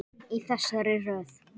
Í þessari röð.